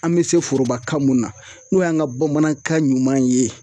An bɛ se foroba ka mun na ,n'o y'an ka bamanankan ɲuman ye